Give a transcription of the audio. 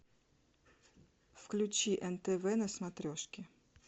включи нтв на смотрешке